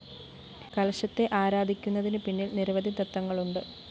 കലശത്തെ ആരാധിക്കുന്നതിന് പിന്നില്‍ നിരവധി തത്ത്വങ്ങളുണ്ട്